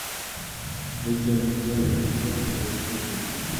легенды первый сезон часть один